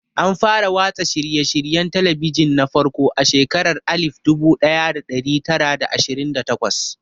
An fara watsa shirye-shiryen talabijin na farko a shekarar alif dubu daya da dari tara da ashirin da takwas.